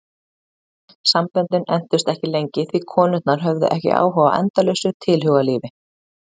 Samböndin entust ekki lengi því konurnar höfðu ekki áhuga á endalausu tilhugalífi.